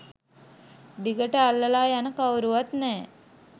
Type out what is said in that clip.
දිගට අල්ලලා යන කවුරුවත් නෑ